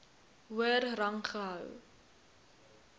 hoër rang gehou